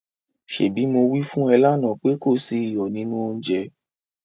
ṣebí mo wí fún ẹ lánàá pé kò sí iyọ̀ nínú oúnjẹ?